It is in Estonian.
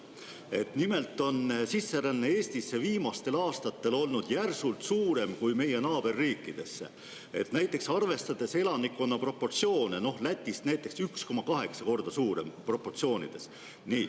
Nimelt on viimastel aastatel olnud sisseränne Eestisse väga palju suurem kui meie naaberriikidesse, näiteks Lätist 1,8 korda suurem, arvestades elanikkonna proportsioone.